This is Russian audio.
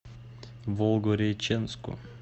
волгореченску